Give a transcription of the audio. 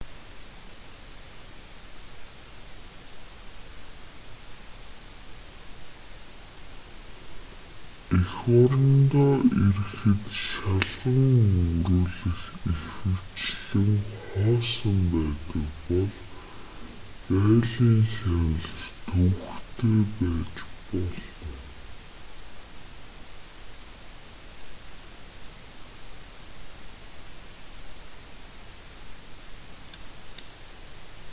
эх орондоо ирэхэд шалган өнгөрүүлэх ихэвчлэн хоосон байдаг бол гаалийн хяналт төвөгтэй байж болно